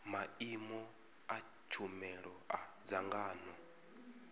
maimo a tshumelo a dzangano